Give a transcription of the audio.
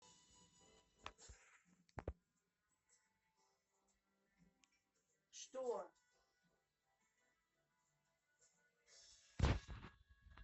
что